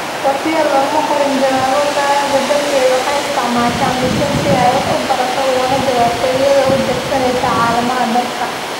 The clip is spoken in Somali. Sofiya looma qorin jawaabo, taa beddelkeeda waxay isticmaashaa mishiin si ay wax u barato ugana jawaabto iyada oo adeegsanaysa calaamadaha dadka.